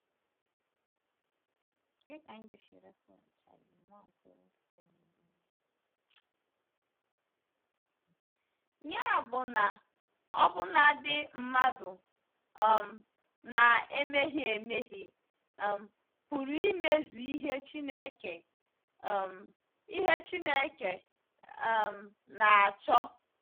Ya bụ na ọbụnadi mmadụ um na-emehie emehie um pụrụ imezu ihe Chineke um ihe Chineke um na-achọ.